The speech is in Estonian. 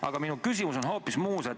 Aga minu küsimus on hoopis muus.